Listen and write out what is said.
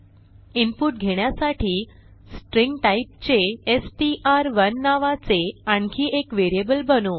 input घेण्यासाठी string टाईपचे एसटीआर1 नावाचे आणखी एक व्हेरिएबल बनवू